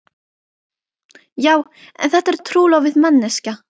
Já en þetta er trúlofuð manneskja.